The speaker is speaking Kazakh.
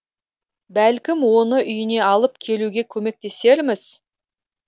бәлкім оны үйіне алып келуге көмектесерміз